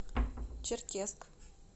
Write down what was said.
черкесск